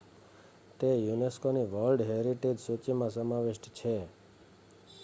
તે unescoની world heritage સૂચિમાં સમાવિષ્ટ છે